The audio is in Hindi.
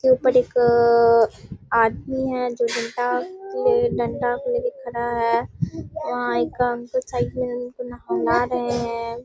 के ऊपर एक आदमी है जो डंडा के लिय डंडा को लेके खड़ा है वहाँ एकांत --